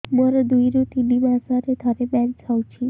ମୋର ଦୁଇରୁ ତିନି ମାସରେ ଥରେ ମେନ୍ସ ହଉଚି